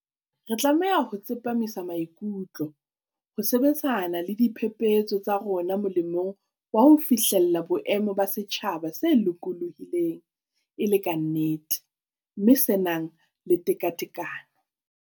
Re tlameha ho tsepamisa maikutlo ho sebetsana le diphephetso tsa rona molemong wa ho fihlella boemo ba setjhaba se lokolohileng e le ka nnete, mme se nang le tekatekano.